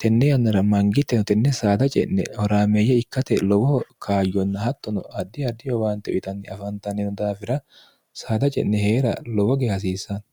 tenne yannara mangiteno tenne saada ce'ne horaameeyye ikkate lowoo kaayyonna hattono addi adi howaante uyitanni afaantannino daafira saada ce'ne hee'ra lowoge hasiissanno